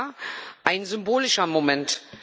Ja, ein symbolischer Moment.